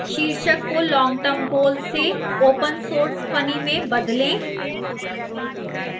शीर्षक को long term goal से open source funny में बदलें